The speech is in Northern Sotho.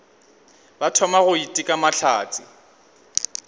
ba thoma go iteka mahlatse